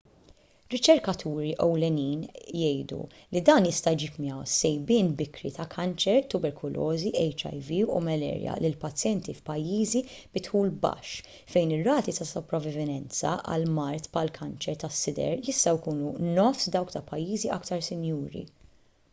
riċerkaturi ewlenin jgħidu li dan jista' jġib miegħu sejbien bikri ta' kanċer tuberkulożi hiv u malarja lil pazjenti f'pajjiżi bi dħul baxx fejn ir-rati ta' sopravivenza għal mard bħall-kanċer tas-sider jistgħu jkunu nofs dawk ta' pajjiżi aktar sinjuri